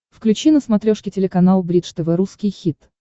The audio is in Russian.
включи на смотрешке телеканал бридж тв русский хит